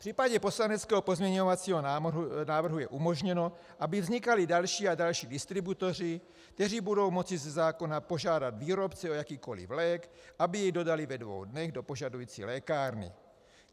V případě poslaneckého pozměňovacího návrhu je umožněno, aby vznikali další a další distributoři, kteří budou moci ze zákona požádat výrobce o jakýkoliv lék, aby jej dodali ve dvou dnech do požadující lékárny.